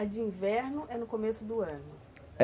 A de inverno é no começo do ano?